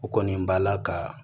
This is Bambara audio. O kɔni b'a la ka